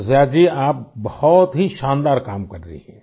शिरिषा जी आप बहुत ही शानदार काम कर रही हो